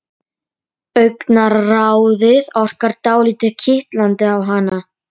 Síendurtekinn söngur hennar byrjar að hvína í eyrum mínum.